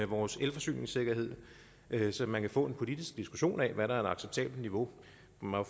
vores elforsyningssikkerhed så man kan få en politisk diskussion af hvad der er et acceptabelt niveau